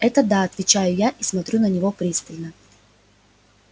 это да отвечаю я и смотрю на него пристально